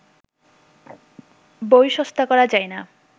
বই সস্তা করা যায় না